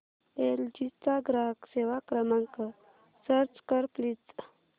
L G चा ग्राहक सेवा क्रमांक सर्च कर प्लीज